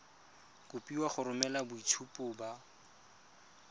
kopiwa go romela boitshupo ba